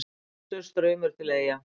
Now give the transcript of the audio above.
Stanslaus straumur til Eyja